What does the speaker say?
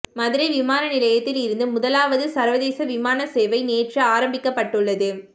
மதுரை விமானநிலையத்தில் இருந்து முதலாவது சர்வதேச விமான சேவை நேற்று ஆரம்பிக்கப்பட்டுள்ளது